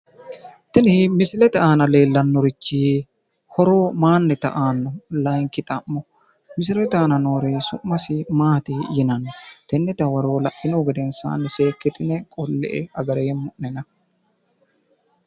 Tini misile aana leellannorichi horo mayiinnita aanno? Layinki xa'mo misilete aana noore summasi Maati yinanni? Tenne dawaro la'inihu gedensaani seekkitine qolle''e agareemmo'nena.